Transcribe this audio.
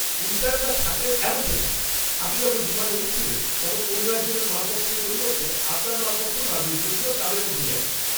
ইন্টার্নরা থাকলে এমনটাই হয়। আপনি যখন বিমানে উঠছিলেন তখন অন্য একজনের মালপত্রের পরিবর্তে আপনার মালপত্র নামিয়ে দিয়েছিল তাদের মধ্যেই একজন।